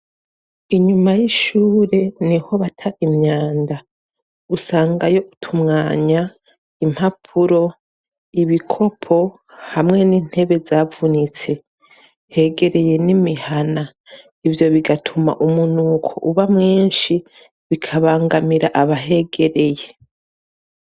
Inyuma y'ishure niho bata imyanda, usangayo utumwanya, impapuro, ibikopo hamwe n'intebe zavunitse, hegereye n'imihana. Ivyo bigatuma umunuko uba mwinshi, bikabangamira abahegereye.